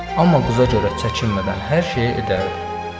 Amma qıza görə çəkinmədən hər şeyi edərdi.